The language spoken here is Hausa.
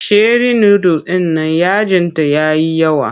Sheri nudul ɗin nan yajinta ya yi yawa.